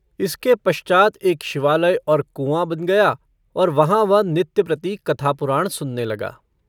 इसके पश्चात् एक शिवालय और कुआँ बन गया और वहाँ वह नित्य-प्रति कथा-पुराण सुनने लगा।